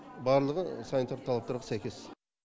барлығы санитарлық талаптарға сәйкес